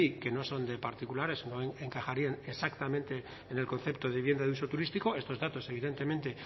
que no son de particulares o no encajarían exactamente en el concepto de vivienda de uso turístico estos datos evidentemente